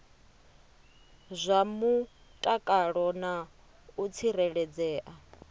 zwa mutakalo na u tsireledzea